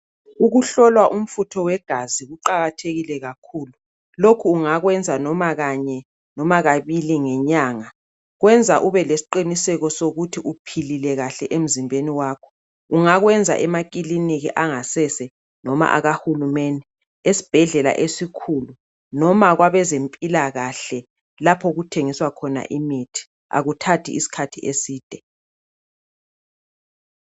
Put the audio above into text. Ukuhlolwa umfutho wegazi kuqakathekile kakhulu. Lokhu ungakwenza noma kanye noma kabili ngenyanga. Kwenza ube lesiqiniseko sokuthi uphilile kahle emzimbeni wakho. Ungakwenza emakiliniki angasese noma akahulumende esibhedlela esikhulu noma kwabezempilakahle lapho okuthengiswa khona imithi. Akuthathi isikhathi eside.